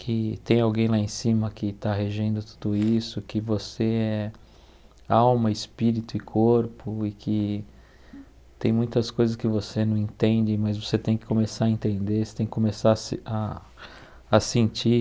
que tem alguém lá em cima que está regendo tudo isso, que você é alma, espírito e corpo e que tem muitas coisas que você não entende, mas você tem que começar a entender, você tem que começar a se a a sentir.